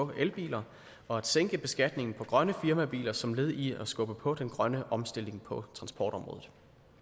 på elbiler og at sænke beskatningen på grønne firmabiler som led i at skubbe på den grønne omstilling på transportområdet